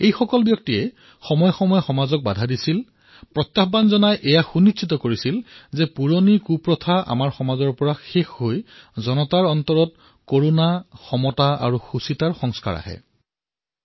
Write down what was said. এওঁলোকে সময়ে সময়ে সমাজক বাৰণ কৰিছিল দাপোণ দেখুৱাইছিল আৰু এয়া সুনিশ্চিত কৰাইছিল যে পুৰণি কুপ্ৰথা যাতে আমাৰ সমাজৰ পৰা নিঃশেষ হয় আৰু জনতাৰ মাজত যাতে কৰুণা সমতা আৰু সুচিন্তাৰ সংস্কাৰ উৎপন্ন হয়